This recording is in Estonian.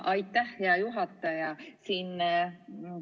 Aitäh, hea juhataja!